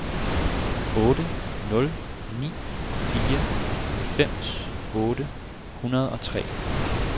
otte nul ni fire halvfems otte hundrede og tre